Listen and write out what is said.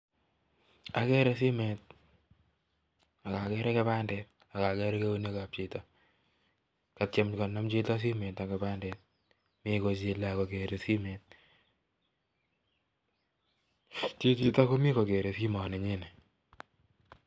Agere simet akagere kipandet chichotok komii kokere simet nyii